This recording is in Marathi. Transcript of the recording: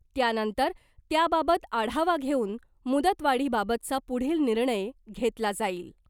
त्यानंतर त्याबाबत आढावा घेऊन मुदतवाढीबाबतचा पुढील निर्णय घेतला जाईल .